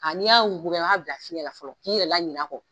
Nka n'i y'a wuguba, i b'a bila fiɲɛ la fɔlɔ, k'i yɛrɛ la ɲinɛ a kɔ.